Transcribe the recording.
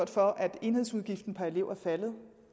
for at enhedsudgiften per elev er faldet